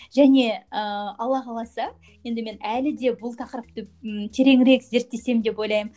және ыыы алла қаласа енді мен әлі де бұл тақырыпты м тереңірек зерттесем деп ойлаймын